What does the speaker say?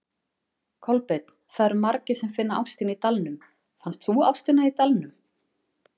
Kolbeinn: Það eru margir sem finna ástina í Dalnum, fannst þú ástina þína í Dalnum?